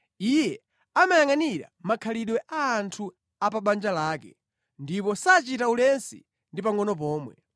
Iye amayangʼanira makhalidwe a anthu a pa banja lake ndipo sachita ulesi ndi pangʼono pomwe.